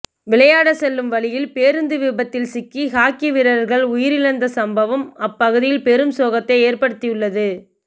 விளையாட செல்லும் வழியில் பேருந்து விபத்தில் சிக்கி ஹாக்கி வீரர்கள் உயிரிழந்த சம்பவம் அப்பகுதியில் பெரும் சோகத்தை ஏற்படுத்தியுள்ளது